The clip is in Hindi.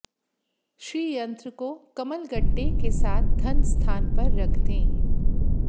श्रीयंत्र को कमलगट्टे के साथ धन स्थान पर रख दें